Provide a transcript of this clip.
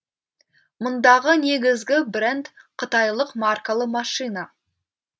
мұндағы негізгі бренд қытайлық маркалы машина